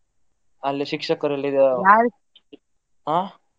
ಅಲ್ಲಿ ಶಿಕ್ಷಕರಲ್ಲ ಈಗ ಅಹ್.